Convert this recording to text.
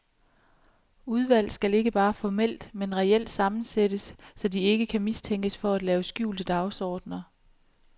Udvalg skal ikke bare formelt, men reelt sammensættes, så de ikke kan mistænkes for at have skjulte dagsordener.